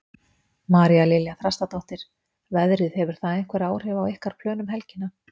María Lilja Þrastardóttir: Veðrið, hefur það haft einhver áhrif á ykkar plön um helgina?